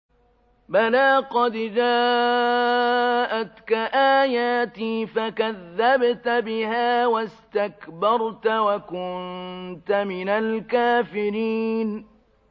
بَلَىٰ قَدْ جَاءَتْكَ آيَاتِي فَكَذَّبْتَ بِهَا وَاسْتَكْبَرْتَ وَكُنتَ مِنَ الْكَافِرِينَ